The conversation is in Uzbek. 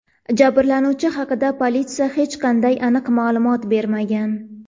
Jabrlanuvchi haqida politsiya hech qanday aniq ma’lumot bermagan.